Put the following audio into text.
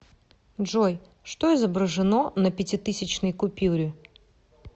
джой что изображено на пятитысячной купюре